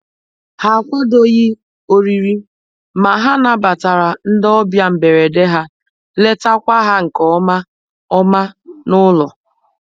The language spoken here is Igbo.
Ha akwadoghị oriri, ma ha nabatara ndị ọbịa mgberede ha letakwa ha nke ọma ọma n'ụlọ.